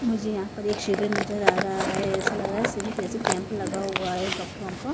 मुझे यहां पर एक शेवर नजर आ रहा है ऐसा लग रहा है सिबिर जैसे कैंप लगा हुआ है डॉक्टर का।